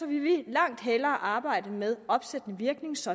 vil vi langt hellere arbejde med opsættende virkning så